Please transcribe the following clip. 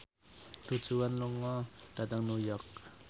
Du Juan lunga dhateng New York